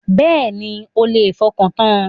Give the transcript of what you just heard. Bẹ́ẹ̀ni, ẹ lè fọkàntan.